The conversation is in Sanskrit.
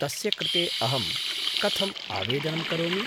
तस्य कृते अहं कथम् आवेदनं करोमि?